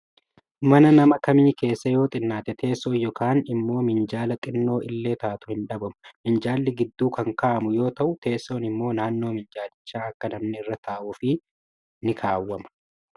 Mana nama kamii keessaa yoo xinnaate teessoon yookaan immoo minjaala xinnoo illee taatu hin dhabamu. Minjaalli gidduu kan kaa'amu yoo ta'u, teessoon immoo naannoo minjaalichaa akka namni irra taa'uuf ni olkaawwama.